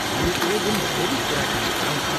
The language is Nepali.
हामी कुनै दिन फेरि कुराकानी गरौँला।